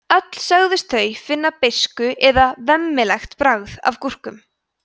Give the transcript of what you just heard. öll sögðust þau finna beiskt eða „vemmilegt“ bragð af gúrkum